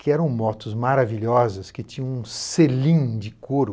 que eram motos maravilhosas, que tinham um selim de couro.